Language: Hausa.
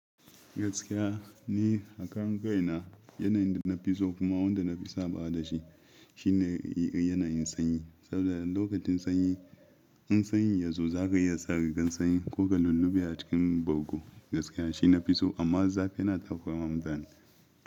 Gaskiya ne, ni akan kai na yanayin da na fi so kuma wanda na fi sabawa da shi shine yanayin sanyi saboda lokacin sanyi in sanyin ya zo za ka iya sa rigar sanyi ko ka lullube a cikin bargo. Gaskiya shi na fi so amma zafi yana takurawa mutane.